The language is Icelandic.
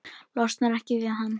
Losnar ekki við hann.